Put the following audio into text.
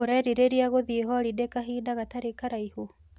ũrerirĩria gũthĩi holidĩ kahinda gatarĩ kũraihu?